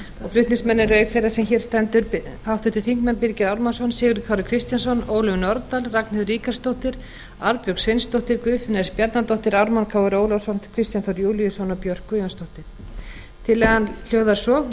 flutningsmenn eru auk þeirrar sem hér stendur háttvirtir þingmenn birgir ármannsson sigurður kári kristjánsson ólöf nordal ragnheiður ríkharðsdóttir arnbjörg sveinsdóttir guðfinna s bjarnadóttir ármann krónu ólafsson kristján þór júlíusson og björk guðjónsdóttir tillagan hljóðar svo